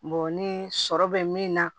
ni sɔrɔ bɛ min na